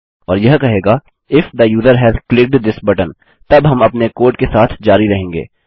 और यह कहेगा if the user has clicked this button तब हम अपने कोड के साथ जारी रहेंगे